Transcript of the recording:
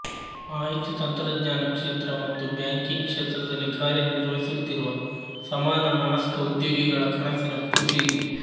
ಮಾಹಿತಿ ತಂತ್ರಜ್ಞಾನ ಕ್ಷೇತ್ರ ಮತ್ತು ಬ್ಯಾಂಕಿಂಗ್ ಕ್ಷೇತ್ರದಲ್ಲಿ ಕಾರ್ಯ ನಿರ್ವಹಿಸುತ್ತಿರುವ ಸಮಾನ ಮನಸ್ಕ ಉದ್ಯೋಗಿಗಳ ಕನಸಿನ ಕೂಸು ಇದು